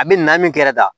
A bɛ na min kɛ ka taa